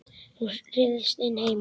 Hún ryðst inn heima.